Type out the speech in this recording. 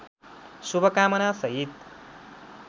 शुभकामना सहित